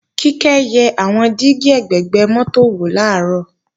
Kíkẹ́ yẹ àwọn dígí ẹ̀gbẹ̀gbẹ́ mọ́tò wò làárọ̀